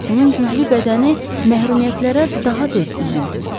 Onun güclü bədəni məhrumiyyətlərə daha tez üzüldü.